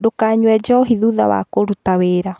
Ndũkanyue njohi thutha wa kũruta wĩra